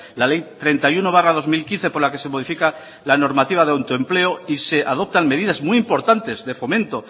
la ley treinta y uno barra dos mil quince por la que se modifica la normativa de autoempleo y se adoptan medidas muy importantes de fomento